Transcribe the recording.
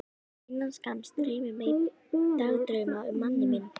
Innan skamms dreymir mig dagdrauma um manninn minn.